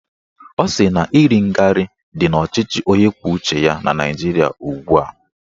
Ọ sị na iri ngarị dị n'ọchịchị onye kwuo uche ya na Naijiria ugbua